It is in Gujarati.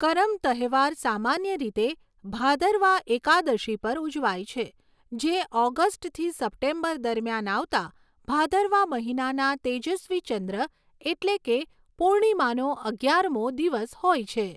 કરમ તહેવાર સામાન્ય રીતે ભાદરવા એકાદશી પર ઉજવાય છે, જે ઑગસ્ટથી સપ્ટેમ્બર દરમિયાન આવતા ભાદરવા મહિનાના તેજસ્વી ચંદ્ર એટલે કે પૂર્ણિમાનો અગિયારમો દિવસ હોય છે.